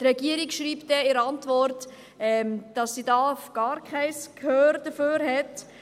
Die Regierung schreibt in der Antwort, dass sie dafür gar kein Gehör hat.